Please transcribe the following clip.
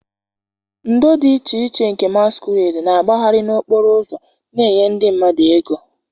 ndo dị iche iche nke masquerades na-agbagharị n'okporo ụzọ na-enye ndị mmadụ ego.